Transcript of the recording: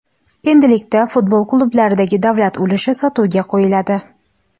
endilikda futbol klublaridagi davlat ulushi sotuvga qo‘yiladi.